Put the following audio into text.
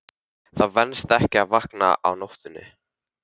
Það venst ekki að vakna á nóttunni.